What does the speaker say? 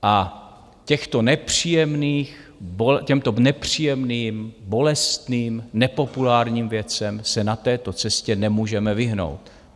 A těmto nepříjemným, bolestným, nepopulárním věcem se na této cestě nemůžeme vyhnout.